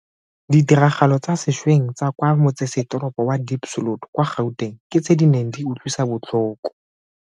Ditiragalo tsa sešweng tsa kwa motsesetoropo wa Diepsloot kwa Gauteng ke tse di neng di utlwisa botlhoko.